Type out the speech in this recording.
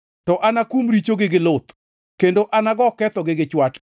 to anakum richogi gi luth, kendo anago kethogi gi chwat.